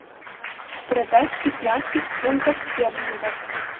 продать пятнадцать фунтов стерлингов